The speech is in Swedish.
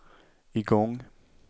igång